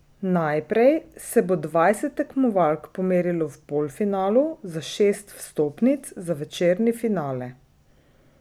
Najprej se bo dvajset tekmovalk pomerilo v polfinalu za šest vstopnic za večerni finale.